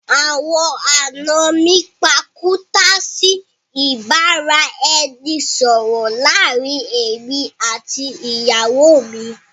Àwọn àna mi pàkúta sí ìbáraẹnisọọ̀rọ̀ láàrín èmi àti ìyàwó mi